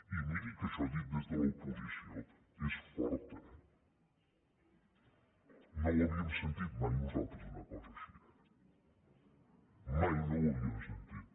i miri que això dit des de l’oposició és fort eh no l’havíem sentit mai nosaltres una cosa així mai no l’havíem sentit